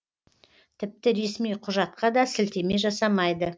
тіпті ресми құжатқа да сілтеме жасамайды